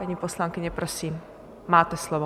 Paní poslankyně, prosím, máte slovo.